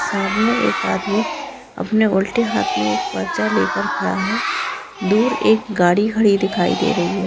सामने एक आदमी अपने उल्टे हाथ में एक पर्चा लेकर खड़ा है दूर एक गाड़ी खड़ी दिखाई दे रही है।